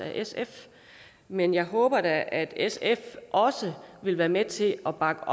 af sf men jeg håber da at sf også vil være med til at bakke